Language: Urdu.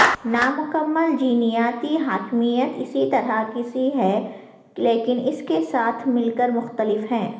نامکمل جینیاتی حاکمیت اسی طرح کی ہے لیکن اس کے ساتھ مل کر مختلف ہے